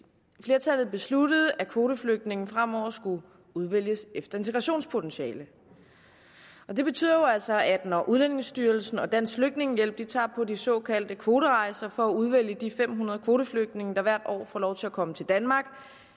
flertallet besluttede at kvoteflygtninge fremover skulle udvælges efter integrationspotentiale det betyder jo altså at når udlændingestyrelsen og dansk flygtningehjælp tager på de såkaldte kvoterejse for at udvælge de fem hundrede kvoteflygtninge der hvert år får lov til at komme til danmark